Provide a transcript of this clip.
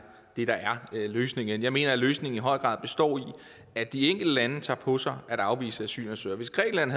det der er løsningen jeg mener at løsningen i høj grad består i at de enkelte lande tager på sig at afvise asylansøgere hvis grækenland